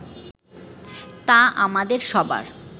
তা আমাদের সবার